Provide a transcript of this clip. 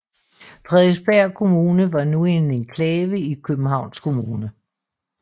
Frederiksberg Kommune var nu en enklave i Københavns Kommune